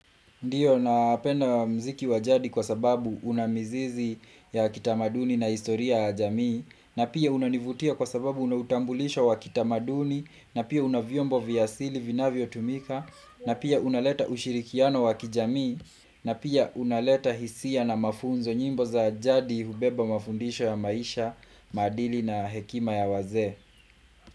Ndioo, napenda muziki wa jadi kwa sababu unamizizi ya kitamaduni na historia ya jamii, na pia unanivutia kwa sababu unautambulisho wa kitamaduni, na pia unavyombo vya asili vinavyotumika, na pia unaleta ushirikiano wa kijamii, na pia unaleta hisia na mafunzo nyimbo za jadi hubeba mafundisho ya maisha, maadili na hekima ya wazee.